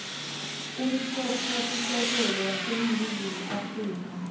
umtsetfosisekelo waseningizimu afrika